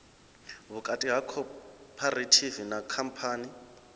vhukati ha khophorethivi na khamphani